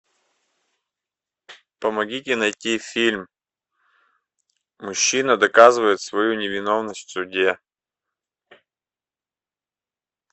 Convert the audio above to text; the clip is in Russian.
помогите найти фильм мужчина доказывает свою невиновность в суде